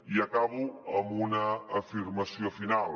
i acabo amb una afirmació final